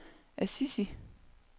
Assisi